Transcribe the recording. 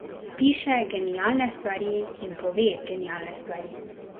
Piše genialne stvari in pove genialne stvari.